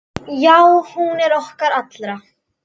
Já, hún er okkar allra.